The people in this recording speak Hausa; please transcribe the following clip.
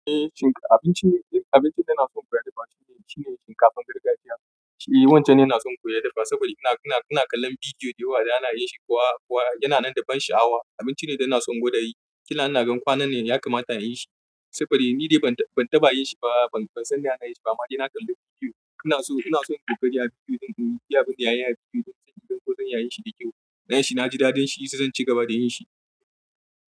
Eh shinkaf-- abinci, abinci da na son koyar da ba shine, shine shinkafan gargajiya. Eh wancan ne na son koyar da ba saboda ina, ina, ina kallon bidiyo dayawa da ana yin shi kuwa, kuwa yana nan da ban sha'awa. Abinci ne da na son gwada yi. Kina na gan kwanan ne ya kamata a yi shi saboda ni dai ban, ban taɓa yin shi ba. Ban, ban san yana yin shi ba ma dai na kalla bidiyo. Ina so, ina so in ƙoƙari a bidiyo ɗin, in biya abinda yayi a bidiyo ɗin sanyi don ko zan yi shi da kyau. Na yi shi na ji daɗin shi, sai zan ci gaba da yin shi.